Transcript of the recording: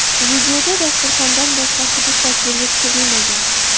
Videoda dasturxondan boshqa hudud tasvirga tushirilmagan.